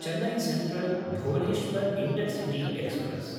Chennai Central-Bhubaneswar intercity express